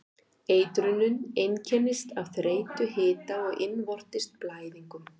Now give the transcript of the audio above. Eitrunin einkennist af þreytu, hita og innvortis blæðingum.